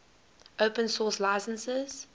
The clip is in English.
open source licenses